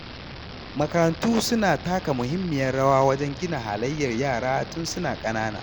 Makarantu suna taka muhimmiyar rawa wajen gina halayyar yara tun suna ƙanana.